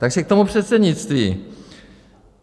Takže k tomu předsednictví.